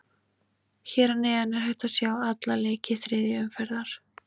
Hér að neðan er hægt að sjá alla leiki þriðju umferðar.